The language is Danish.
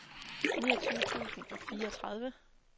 niogtyve tusind og fireogtredive